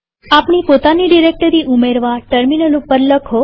આપણી પોતાની ડિરેક્ટરી ઉમેરવા ટર્મિનલ ઉપર લખો